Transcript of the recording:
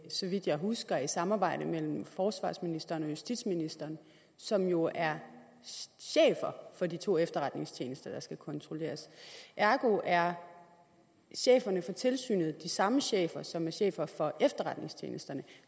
så vidt jeg husker i et samarbejde mellem forsvarsministeren og justitsministeren som jo er chefer for de to efterretningstjenester der skal kontrolleres ergo er cheferne for tilsynet de samme chefer som er chefer for efterretningstjenesterne